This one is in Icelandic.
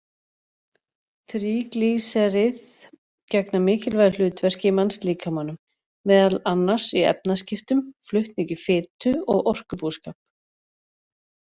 Þríglýseríð gegna mikilvægu hlutverki í mannslíkamanum, meðal annars í efnaskiptum, flutningi fitu og orkubúskap.